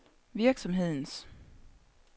virksomhedens